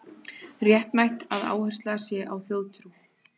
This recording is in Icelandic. Réttmætt að áhersla sé á þjóðtrú